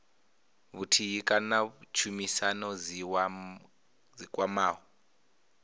vhuthihi kana tshumisano dzi kwamaho